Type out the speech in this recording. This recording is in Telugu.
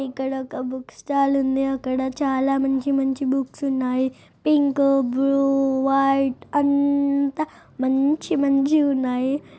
ఇక్కడ ఒక బుక్ స్టాల్ ఉందిఇక్కడ చాలా మంచి మంచి బుక్స్ ఉన్నాయి పింక్ బ్లూ వైట్ అంతా మంచి మంచి ఉన్నాయి.